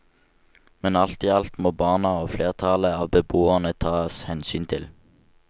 Men alt i alt må barna og flertallet av beboerne tas hensyn til.